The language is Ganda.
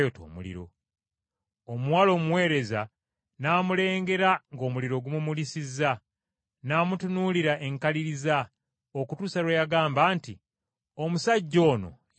Omuwala omuweereza n’amulengera ng’omuliro gumumulisizza, n’amutunuulira enkaliriza, okutuusa lwe yagamba nti, “Omusajja ono yali ne Yesu!”